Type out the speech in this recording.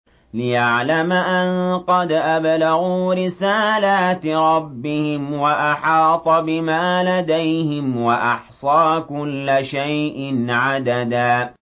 لِّيَعْلَمَ أَن قَدْ أَبْلَغُوا رِسَالَاتِ رَبِّهِمْ وَأَحَاطَ بِمَا لَدَيْهِمْ وَأَحْصَىٰ كُلَّ شَيْءٍ عَدَدًا